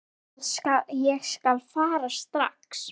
Ég skal fara strax.